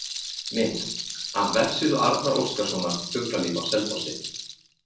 Mynd: Af vefsíðu Arnar Óskarssonar, Fuglalíf á Selfossi